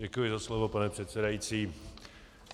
Děkuji za slovo, pane předsedající.